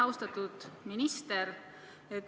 Austatud minister!